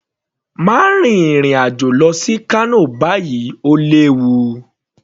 Má rin ìrìn àjò lọ sí Kano báyìí, Ó léwu